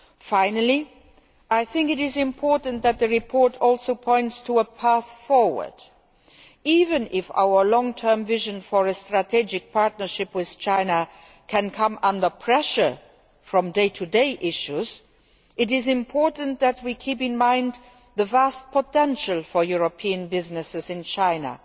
Finally, I think it is important that the report also points to a path forward. Even if our long term vision for a strategic partnership with China can come under pressure from day to day issues, it is important that we keep in mind the vast potential for European businesses in China,